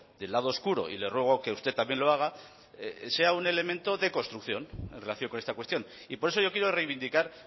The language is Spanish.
del lado oscuro y le ruego que usted también lo haga sea un elemento de construcción en relación con esta cuestión y por eso yo quiero reivindicar